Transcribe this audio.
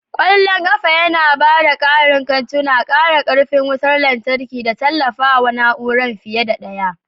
Ƙwallon ƙafa yana ba da ƙarin kantuna, ƙara ƙarfin wutar lantarki da tallafawa na'ura fiye da ɗaya.